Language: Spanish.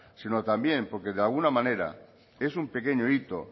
sino también porque de alguna manera es un pequeño hito